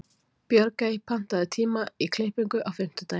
Björgey, pantaðu tíma í klippingu á fimmtudaginn.